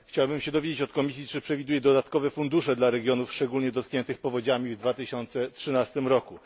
Chciałbym dowiedzieć się od Komisji, czy przewiduje dodatkowe fundusze dla regionów szczególnie dotkniętych powodziami w 2013 roku?